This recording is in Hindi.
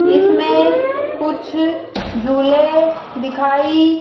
इसमें कुछ झूले दिखाई--